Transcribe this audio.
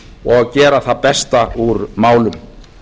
og gera það besta úr málum